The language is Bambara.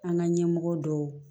An ka ɲɛmɔgɔ dɔw